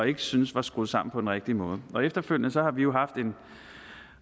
ikke syntes var skruet sammen på den rigtige måde og efterfølgende har vi jo haft en